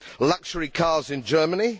luxury cars in Germany